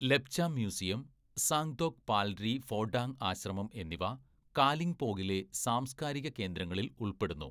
Lepcha museum, Zang Dhok Palri Phodong ആശ്രമം എന്നിവ കാലിംപോംഗിലെ സാംസ്‌കാരിക കേന്ദ്രങ്ങളിൽ ഉൾപ്പെടുന്നു.